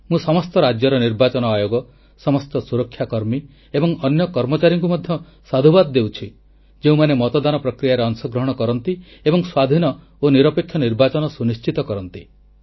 ମୁଁ ସମସ୍ତ ରାଜ୍ୟର ନିର୍ବାଚନ ଆୟୋଗ ସମସ୍ତ ସୁରକ୍ଷା କର୍ମୀ ଏବଂ ଅନ୍ୟ କର୍ମଚାରୀଙ୍କୁ ମଧ୍ୟ ସାଧୁବାଦ ଦେଉଛି ଯେଉଁମାନେ ମତଦାନ ପ୍ରକ୍ରିୟାରେ ଅଂଶଗ୍ରହଣ କରନ୍ତି ଏବଂ ସ୍ୱାଧୀନ ଓ ନିରପେକ୍ଷ ନିର୍ବାଚନ ସୁନିଶ୍ଚିତ କରନ୍ତି